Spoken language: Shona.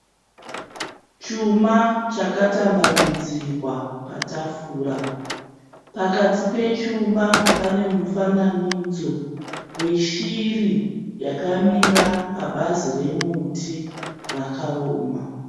Chuma chakatambanudzirwa patafurwa, pakati pechuma panemufananidzi weshiri yakamira pabazi remuti rakaoma.